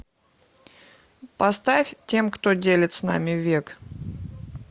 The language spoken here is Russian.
поставь тем кто делит с нами век